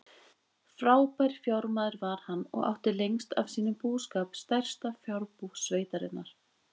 Frábær fjármaður var hann og átti lengst af sínum búskap stærsta fjárbú sveitarinnar.